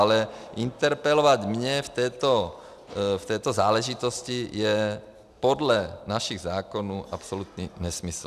Ale interpelovat mě v této záležitosti je podle našich zákonů absolutní nesmysl.